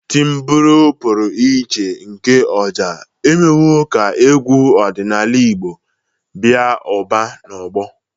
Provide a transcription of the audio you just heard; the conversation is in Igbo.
Timbure pụrụ iche nke Oja emewo ka egwu ọdịnala Igbo baa ụba n'ọgbọ.